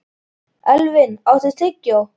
Elvin, áttu tyggjó?